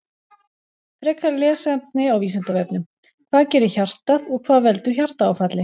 Frekara lesefni á Vísindavefnum: Hvað gerir hjartað og hvað veldur hjartaáfalli?